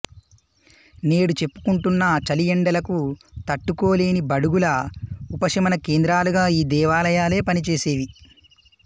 నేడు చెప్పుకుంటున్న చలి ఎండ లకు తట్టుకోలేని బడుగుల ఉపశమన కేంద్రాలుగా ఈ దేవాలయాలే పనిచేసేవి